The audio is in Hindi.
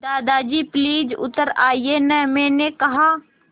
दादाजी प्लीज़ उतर आइये न मैंने कहा